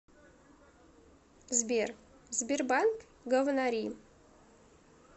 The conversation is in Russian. сбер сбербанк говнори